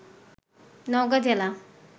নওগাঁ জেলা